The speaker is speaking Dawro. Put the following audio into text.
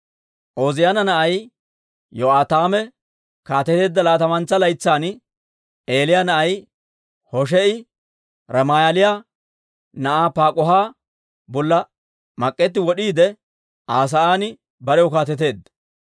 Ooziyaana na'ay Yo'aataame kaateteedda laatamantsa laytsan, Eelah na'ay Hoshee'i Ramaaliyaa na'aa Paak'uha bolla mak'etti wod'iide Aa sa'aan barew kaateteedda.